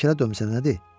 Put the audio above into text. Heykələ dömsənə nədir?